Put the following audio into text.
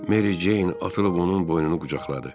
Meri Ceyn atılıb onun boynunu qucaqladı.